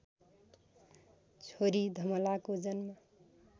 छोरी धमलाको जन्म